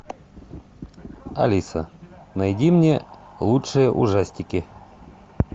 алиса найди мне лучшие ужастики